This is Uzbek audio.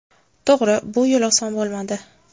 To‘g‘ri, bu yil oson bo‘lmadi.